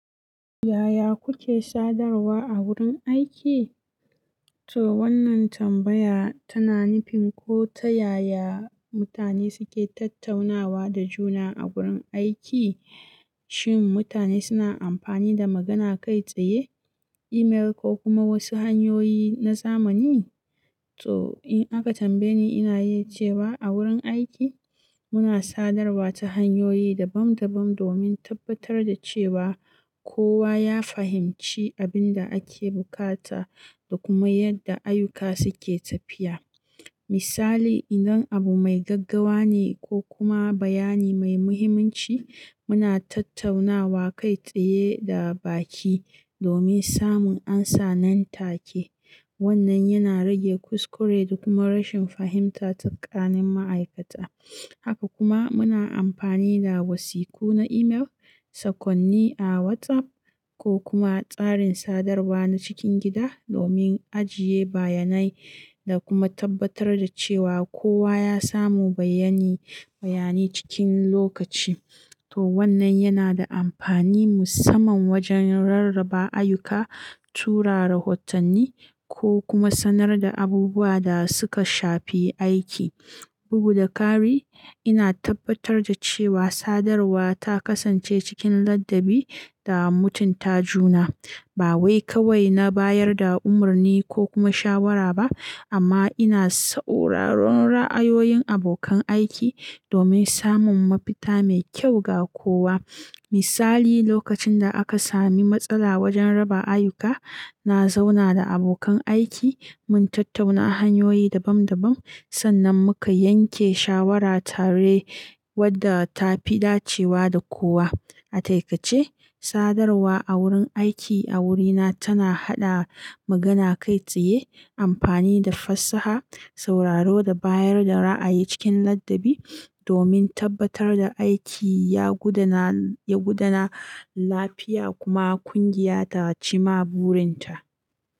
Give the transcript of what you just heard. Yaya kuke sadarwa a wurin aiki? To wannan tambaya tana nufin ko ta yaya mutane suke tattaunawa da juna a wurin aiki. Shin mutane suna amfani da magana kai tsaye, email ko kuma wasu hanyoyi na zamani? To in aka tambaye ni, ina yi ce wa a wurin aiki muna sadarwa ta hanyoyi dabam dabam domin tabbatar da cewa kowa ya fahimci abin da ake bukata da kuma yadda ayyuka suke tafiya. Misali, idan abu mai gaggawa ne ko kuma bayani mai muhimmanci, muna tattaunawa kai tsaye da baki domin samun amsa nan take. Wannan yana rage kuskure da kuma rashin fahimta tsakanin ma'aikata. Haka kuma muna amfani da wasiku na email, sakonni a WhatsApp ko kuma tsarin sadarwa na cikin gida domin ajiye bayanai da kuma tabbatar da cewa kowa ya samu bayyani, bayani cikin lokaci. To wannan yana da amfani musamman wajen rarraba ayyuka, tura rahotanni ko kuma sanar da abubuwa da suka shafi aiki. Wannan yana rage kuskure da kuma rashin fahimta tsakanin ma'aikata. Ba wai kawai na bayar da umarni ko kuma shawara ba amma ina sauraron ra'ayoyin abokan aiki domin samun mafita mai kyau ga kowa. Misali, lokacin da aka sami matsala wajen raba ayyuka, na zauna da abokan aiki mun tattauna hanyoyi dabam dabam sannan muka yanke shawara tare wadda ta fi dacewa da kowa. A taƙaice, sadarwa a wurin aiki a wurina tana haɗa magana kai tsaye, amfani da fassaha, sauraro da bayar da ra'ayi cikin ladabi domin tabbatar da aiki ya gudana, ya gudana lafiya kuma kungiya ta cimma burin ta.